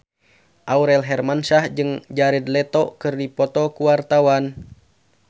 Aurel Hermansyah jeung Jared Leto keur dipoto ku wartawan